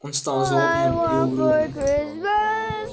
он стал злобным и угрюмым